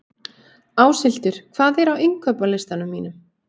Áshildur, hvað er á innkaupalistanum mínum?